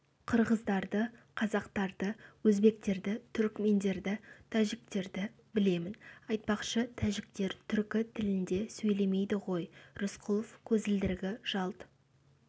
қырғыздарды қазақтарды өзбектерді түрікмендерді тәжіктерді білемін айтпақшы тәжіктер түркі тілінде сөйлемейді ғой рысқұлов көзілдірігі жалт